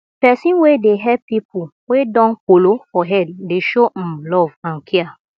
pesin wey dey help pipo wey don kolo for head dey show um love and care